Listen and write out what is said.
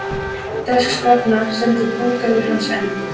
Þess vegna stendur búgarður hans enn.